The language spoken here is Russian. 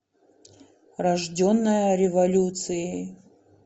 рожденная революцией